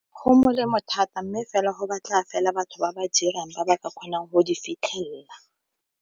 Go molemo thata mme fela go batlega fela batho ba ba dirang ba ba ka kgonang go di fitlhelela.